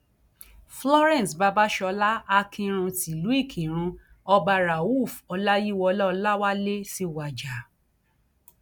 florence babàsọlá akinrun tìlùú ìkírun ọba rauf ọláyíwọlá ọlàwálẹ ti wájà